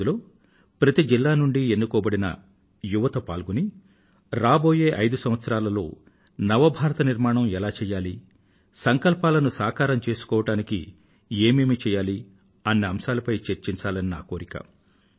అందులో ప్రతీ జిలా నుండీ ఎన్నుకోబడిన యువత పాల్గొని రాబోయే ఐదు సంవత్సరాలలో నవ భారత నిర్మాణం ఎలా చేయాలి సంకల్పాలను సాకారం చేసుకోవడానికి ఏమేమి చెయ్యాలి అన్న అంశాలపై చర్చించాలని నా కోరిక